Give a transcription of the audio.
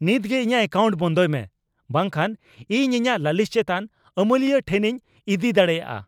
ᱱᱤᱛ ᱜᱮ ᱤᱧᱟᱹᱜ ᱮᱠᱟᱣᱱᱴ ᱵᱚᱱᱫᱚᱭ ᱢᱮ, ᱵᱟᱝ ᱠᱷᱟᱱ ᱤᱧ ᱤᱧᱟᱹᱜ ᱞᱟᱹᱞᱤᱥ ᱪᱮᱛᱟᱱ ᱟᱹᱢᱟᱹᱞᱤᱭᱟᱹ ᱴᱷᱮᱱᱤᱧ ᱤᱫᱤ ᱫᱟᱲᱮᱭᱟᱜᱼᱟ ᱾